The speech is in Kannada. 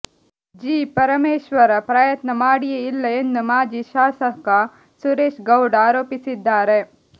ಜಿ ಪರಮೇಶ್ವರ ಪ್ರಯತ್ನ ಮಾಡಿಯೇ ಇಲ್ಲ ಎಂದು ಮಾಜಿ ಶಾಸಕ ಸುರೇಶ್ ಗೌಡ ಆರೋಪಿಸಿದ್ದಾರೆ